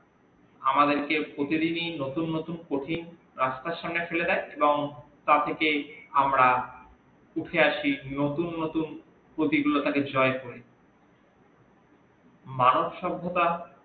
আমাদেরকে প্রতিদিনিই নতুন নতুন পুথি রাস্তার সামনে ফেলে দেই এবং তা থেকেই আমরা উঠে আসি নতুন নতুন পুতি গুলি কে জয় করে মানব সভ্যতা